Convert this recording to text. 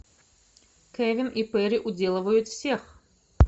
кевин и перри уделывают всех